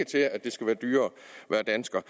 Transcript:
til at det skal være dyrere at være dansker